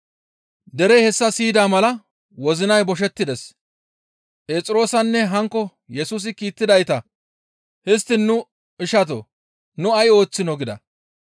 Derey hessa siyida mala wozinay boshettides; Phexroosanne hankko Yesusi kiittidayta, «Histtiin nu ishatoo! Nu ay ooththinoo?» gida.